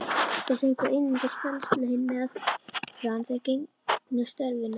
Þeir fengu einungis föst laun meðan þeir gegndu störfunum.